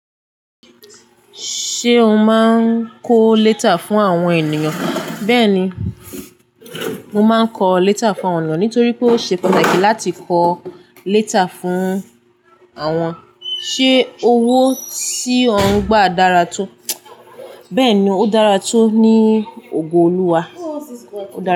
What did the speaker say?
Ṣé o máa ń kọ léta fún àwọn ènìyàn? Bẹ́ẹ̀ni, mo máa ń kọ léta fún àwọn ènìyàn nítorí pé ó ṣe pàtàkì láti kọ léta fún àwọn. Ṣé owó tí ó ń gbà dára tó? Bẹ́ẹ̀ni, ó dára tó ní ògo Olúwa.